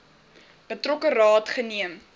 betrokke raad geneem